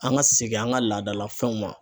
An ka segin an ka laadalafɛnw ma.